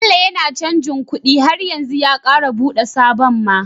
Bello yAna canji kuɗi har yanzu ya kara buɗe sabon ma